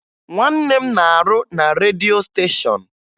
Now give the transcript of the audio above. Nwanne m na-arụ na redio stéshọ̀n